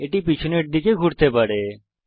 এটি পিছনের দিকে ঘুরতে পারে